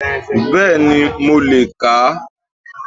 Béèni mo le è kà á